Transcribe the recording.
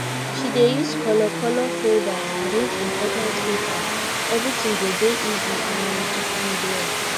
she dey use color color folders arrange important papers everything go dey easy um to find well